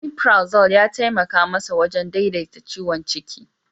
Omefrazol ya taimaka masa wajen daidaita ciwon ciki.